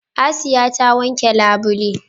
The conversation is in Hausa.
Asiya ta wanke labule.